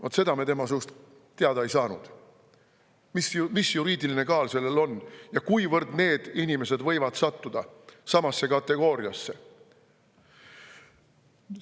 Vaat seda me tema suust teada ei saanud, mis juriidiline kaal sellel on ja kuivõrd need inimesed võivad sattuda samasse kategooriasse.